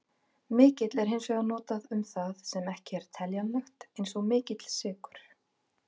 Mikill er hins vegar notað um það sem ekki er teljanlegt, eins og mikill sykur.